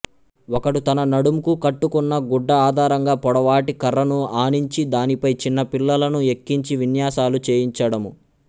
ఒకడు తన నడుంకు కట్టుకున్న గుడ్డ ఆధారంగా పొడవాటి కర్రను ఆనించి దానిపై చిన పిల్లలను ఎకించి విన్యాసాలు చేయించడము